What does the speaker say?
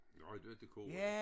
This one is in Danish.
Nej du var til kor